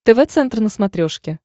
тв центр на смотрешке